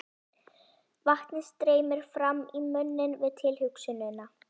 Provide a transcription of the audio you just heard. Vatnið streymir fram í munninn við tilhugsunina.